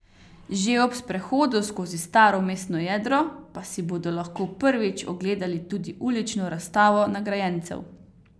Že ob sprehodu skozi staro mestno jedro pa si bodo lahko prvič ogledali tudi ulično razstavo nagrajencev.